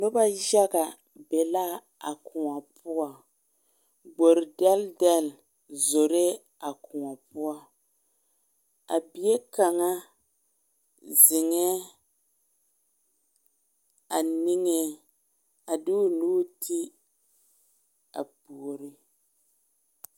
Noba yaga be laa koɔ poɔ, gbori dɛldɛl zoro a koɔ poɔ a bie kaŋa zeŋɛ a niŋɛ a de o nuuri ti a puoriŋ.